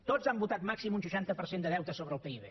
tots han votat màxim un seixanta per cent de deute sobre el pib